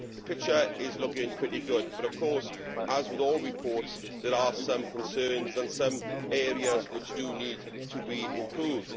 So the picture is looking pretty good, but of course as with all reports there are some concerns and some areas which need to be improved.